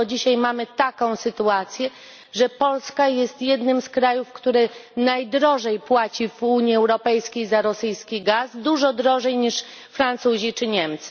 Bo dzisiaj mamy taką sytuację, że Polska jest jednym z krajów, które najdrożej płacą w Unii Europejskiej za rosyjski gaz, dużo drożej niż Francuzi czy Niemcy.